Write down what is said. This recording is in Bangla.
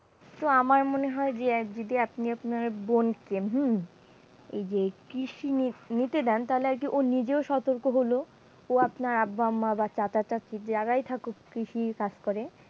তো আমার মনে হয় যে যদি আপনি আপনার বোনকে হম এই যে কৃষি নিতে দেন তাহলে আর কি ও নিজেও সতর্ক হলো, বা আপনার আব্বা আম্মা বা চাচা চাচী যারাই থাকুক কৃষি